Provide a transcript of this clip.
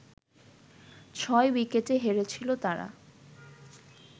ছয় উইকেটে হেরেছিল তারা